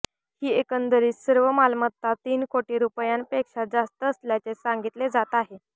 ही एकंदरीत सर्व मालमत्ता तीन कोटी रुपयांपेक्षा जास्त असल्याचे सांगितले जात आहे